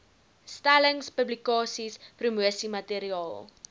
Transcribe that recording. stellings publikasies promosiemateriaal